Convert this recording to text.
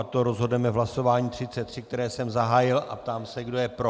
O tom rozhodneme v hlasování 33, které jsem zahájil, a ptám se, kdo je pro.